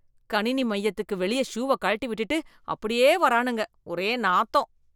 கணினி மையத்துக்கு வெளிய ஷூ வ கழட்டி விட்டுட்டு அப்படியே வரானுங்க, ஒரே நாத்தம்.